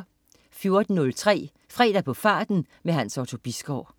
14.03 Fredag på farten. Hans Otto Bisgaard